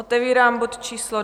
Otevírám bod číslo